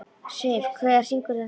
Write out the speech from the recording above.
Siv, hver syngur þetta lag?